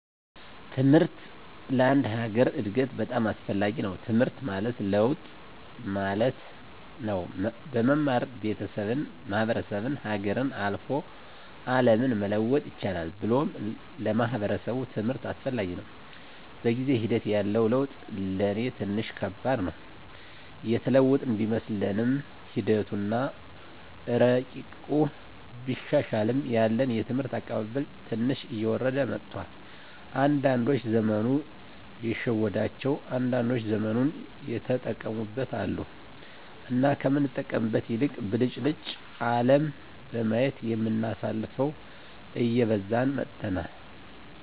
ትምሕርት ለአንድ ሀገር እድገት በጣም አስፈላጊ ነዉ። ትምሕርት ማለት ለውጥ ማለት ነው። በመማር ቤተሠብን፣ ማሕበረሰብን፣ ሀገርን፣ አልፎ አለምን መለወጥ ይቻላል ብሎም ለማሕበረሰቡ ትምህርት አስፈላጊ ነው። በጊዜ ሒደት ያለው ለውጥ ለኔ ትንሽ ከባድ ነው። የተለወጥን ቢመስለንምሒደቱ አና እረቂቁ ቢሻሻልም ያለን የትምህርት አቀባበል ትንሽ እየወረደ መጥቷል። አንዳዶች ዘመኑ የሸወዳቸው አንዳንዶች ዘመኑን የተጠቀሙበት አሉ። እና ከምንጠቀምበት ይልቅ ብልጭልጭ አለም በማየት የምናሳልፈው እየበዛን መጥተናል።